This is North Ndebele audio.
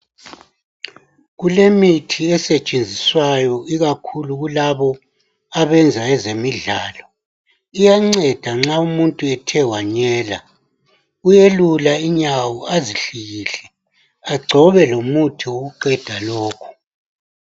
Kulemithi esetshenziswayo ikakhulu kulabo abenza ezemidlalo iyanceda nxa umuntu ethe wanyela uyelula unyawo azihlikihle agcobe lomuthi wokuqeda lokho.